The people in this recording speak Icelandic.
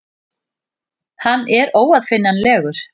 Hann er óaðfinnanlegur.